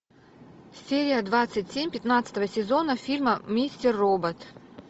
серия двадцать семь пятнадцатого сезона фильма мистер робот